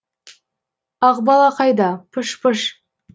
ақбала қайда пыш пыш